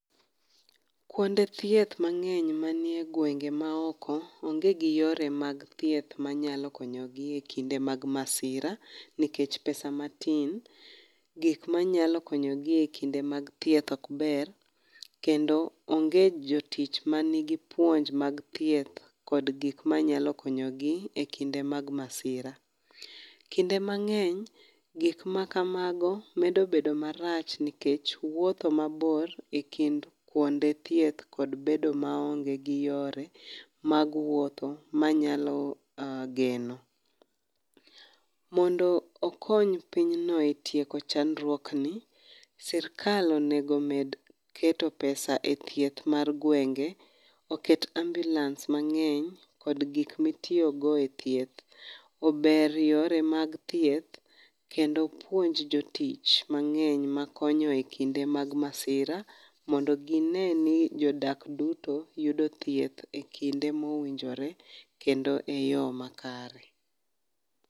Kuonde thieth mang'eny manie gwenge maoko, onge gi yore mag thieth manyalo konyogi ekinde mag masira, nikech pesa matin. Gik manyalo konyogi ekinde mag thieth okber , kendo onge jotich manigi puonj mag thieth, kod gik manyalo konyogi e kinde mag masira. Kinde mang'eny, gik makamago medo bedo marach nikech wuotho mabor ekind kuonde thieth kod bedo maonge gi yore mag wuotho manyalo uh geno. Mondo okony pinyno e tieko chandruok ni, sirkal onego med keto pesa e thieth mar gwenge, oket ambulance mang'eny kod gi mitiogo e thieth. Ober yore mag thieth, kendo upuonj jotich mang'eny makonyo e kinde mag masira mondo gineni jodak duto yudo thieth e kinde mowinjore kendo e yoo makare.